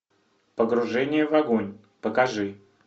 погружение в огонь покажи